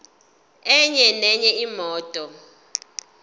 enye nenye imoto